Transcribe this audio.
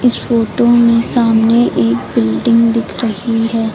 इस फोटो में सामने एक बिल्डिंग दिख रही है।